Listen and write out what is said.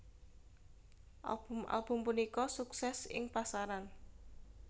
Album album punika sukses ing pasaran